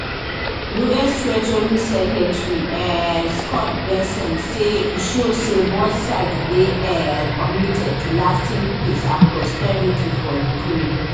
us treasury secretary um scott bessent say e show say both sides dey um committed to lasting peace and prosperity for ukraine